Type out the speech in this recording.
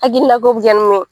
Akilila ko bi jali lo